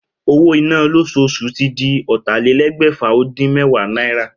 Owó iná lósoosù tí di ótàlélégbèfà- ó-dín- méwàá náírà